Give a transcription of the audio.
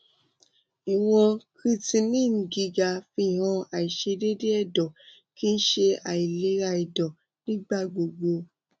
iwọn creatinine giga fihan aiṣedede ẹdọ kii ṣe ailera ẹdọ nigba gbogbo